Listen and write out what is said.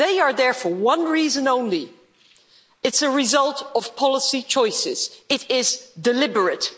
They are there for one reason only it's a result of policy choices, it is deliberate.